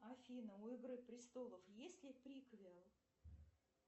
афина у игры престолов есть ли приквел